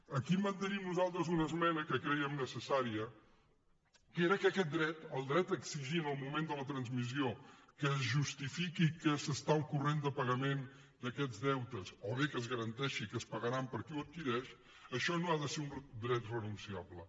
aquí mantenim nosaltres una esmena que crèiem necessària que era que aquest dret el dret a exigir en el moment de la transmissió que es justifiqui que s’està al corrent de pagament d’aquests deutes o bé que es garanteixi que es pagaran per qui ho adquireix això no ha de ser un dret renunciable